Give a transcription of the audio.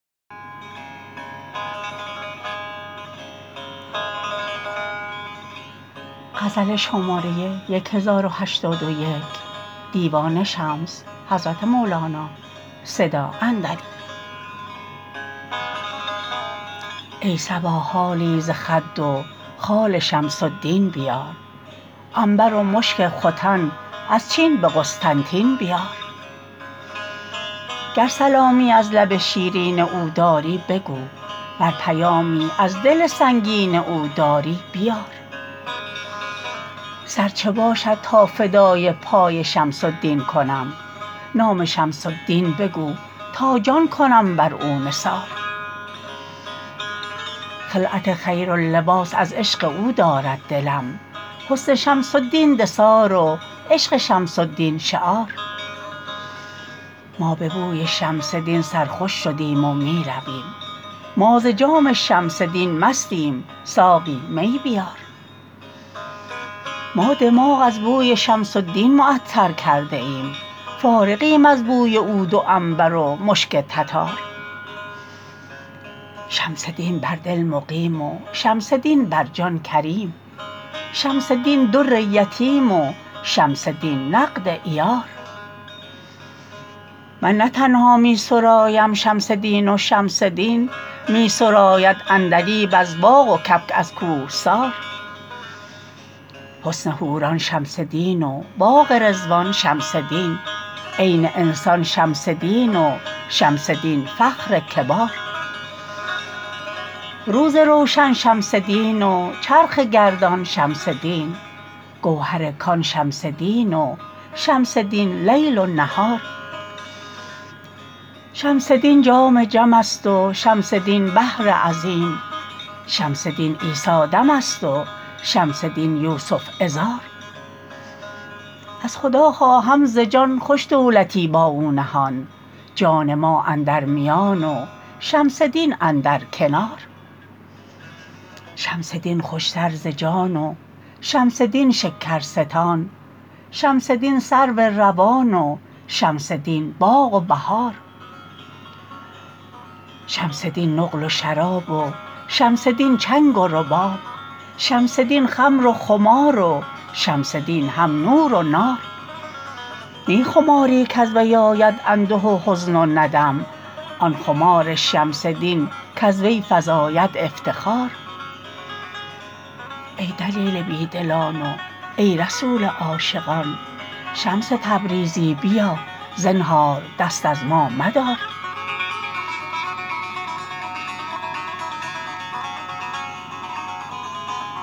ای صبا حالی ز خد و خال شمس الدین بیار عنبر و مشک ختن از چین به قسطنطین بیار گر سلامی از لب شیرین او داری بگو ور پیامی از دل سنگین او داری بیار سر چه باشد تا فدای پای شمس الدین کنم نام شمس الدین بگو تا جان کنم بر او نثار خلعت خیر و لباس از عشق او دارد دلم حسن شمس الدین دثار و عشق شمس الدین شعار ما به بوی شمس دین سرخوش شدیم و می رویم ما ز جام شمس دین مستیم ساقی می میار ما دماغ از بوی شمس الدین معطر کرده ایم فارغیم از بوی عود و عنبر و مشک تتار شمس دین بر دل مقیم و شمس دین بر جان کریم شمس دین در یتیم و شمس دین نقد عیار من نه تنها می سرایم شمس دین و شمس دین می سراید عندلیب از باغ و کبک از کوهسار حسن حوران شمس دین و باغ رضوان شمس دین عین انسان شمس دین و شمس دین فخر کبار روز روشن شمس دین و چرخ گردان شمس دین گوهر کان شمس دین و شمس دین لیل و نهار شمس دین جام جمست و شمس دین بحر عظیم شمس دین عیسی دم است و شمس دین یوسف عذار از خدا خواهم ز جان خوش دولتی با او نهان جان ما اندر میان و شمس دین اندر کنار شمس دین خوشتر ز جان و شمس دین شکرستان شمس دین سرو روان و شمس دین باغ و بهار شمس دین نقل و شراب و شمس دین چنگ و رباب شمس دین خمر و خمار و شمس دین هم نور و نار نی خماری کز وی آید انده و حزن و ندم آن خمار شمس دین کز وی فزاید افتخار ای دلیل بی دلان و ای رسول عاشقان شمس تبریزی بیا زنهار دست از ما مدار